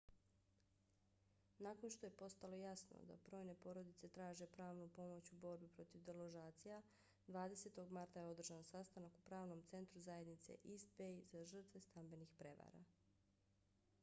nakon što je postalo jasno da brojne porodice traže pravnu pomoć u borbi protiv deložacija 20. marta je održan sastanak u pravnom centru zajednice east bay za žrtve stambenih prevara